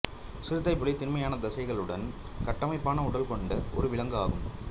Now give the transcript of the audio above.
சிறுத்தைப்புலி திண்மையான தசைகளுடன் கட்டமைப்பான உடல் கொண்ட ஒரு விலங்கு ஆகும்